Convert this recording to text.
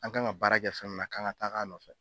An kan ka baara kɛ fɛn min na k'an ka taga a nɔfɛ.